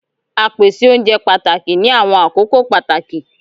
Á pèsè ọ̀unjẹ pátákì ní àwọn akókò pátákì